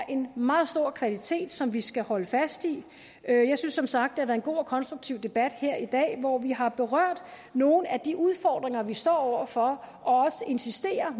en meget stor kvalitet som vi skal holde fast i jeg synes som sagt det har været en god og konstruktiv debat her i dag hvor vi har berørt nogle af de udfordringer vi står over for og også insisteret